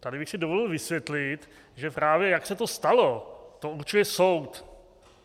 Tady bych si dovolil vysvětlit, že právě jak se to stalo, to určuje soud.